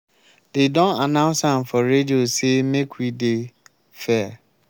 dey don announce am for radio say make we dey fair.